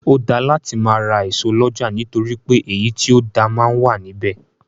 Ó dáa láti máa ra ẹso lọ́jà nítorí pé èyí tí ó dáa máa wà ní bẹ̀.